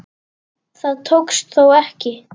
Það tókst þó ekki.